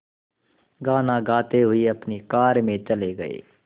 गाना गाते हुए अपनी कार में चले गए